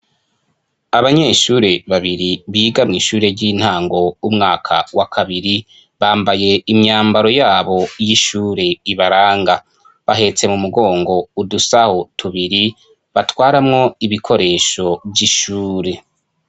Abanyeshure babiri biga mw'ishure ry'intango umwaka wa kabiri bambaye imyambaro yabo y'ishure ibaranga bahetse mu mugongo udusaho tubiri batwaramwo ibikoresho vy'ishure.